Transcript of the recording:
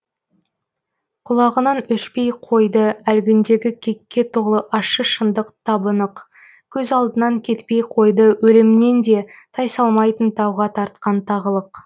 құлағынан өшпей қойды әлгіндегі кекке толы ащы шындық табы нық көз алдынан кетпей қойды өлімнен де тайсалмайтын тауға тартқан тағылық